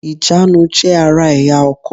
Ìjánu jé ara èyá ọkò